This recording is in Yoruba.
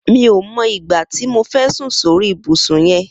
Mi ó mọ igbá ti mó fẹ̀ sùn sóri ibùsùn yèn